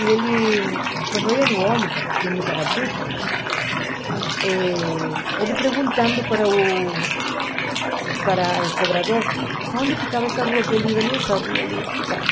E ele, quando ia no ônibus, indo para Brooklyn, eh ele perguntando para o para o cobrador, aonde ficava essa rua que ele ia nessa rua, lhe explicasse.